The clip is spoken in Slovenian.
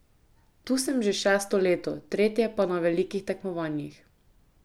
Tu sem že šesto leto, tretje pa na velikih tekmovanjih.